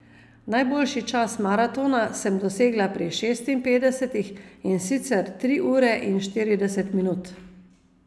Najboljši čas maratona sem dosegla pri šestinpetdesetih, in sicer tri ure in štirideset minut.